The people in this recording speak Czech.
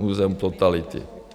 Muzeum totality.